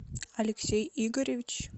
алексей игоревич